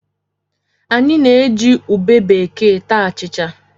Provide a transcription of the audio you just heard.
Anyị na-eji ube bekee ata achịcha.